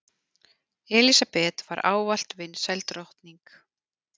Elísabet var ávallt vinsæl drottning.